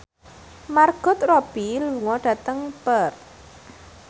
Margot Robbie lunga dhateng Perth